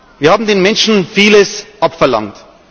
Wir haben den Menschen viel abverlangt.